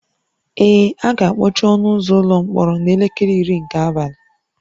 Ee, a ga-akpọchi ọnụ ụzọ ụlọ mkpọrọ n'elekere iri nke abalị